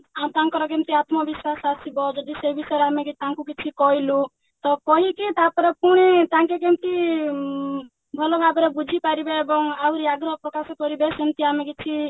ଆଉ ତାଙ୍କର କେମିତି ଆତ୍ମବିଶ୍ଵାସ ଆସିବ ଯଦି ସେ ବିଷୟରେ ଆମେ ତାଙ୍କୁ କିଛି କହିଲୁ ତ କହିକି ତାପରେ ପୁଣି ତାଙ୍କେ କେମିତି ଉଁ ଭଲଭାବରେ ବୁଝିପାରିବେ ଏବଂ ଆହୁରି ଆଗ୍ରହ ପ୍ରକାଶ କରିବେ ସେମତି ଆମେ କିଛି